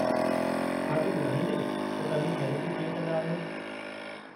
छा तूं बु॒धाईंदे त तव्हीं थेरेपी कीअं कंदा आहियो?